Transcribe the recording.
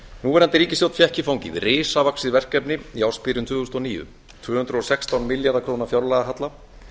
núverandi ríkisstjórn fékk í fangið risavaxið verkefni í ársbyrjun tvö þúsund og níu tvö hundruð og sextán milljarða króna fjárlagahalla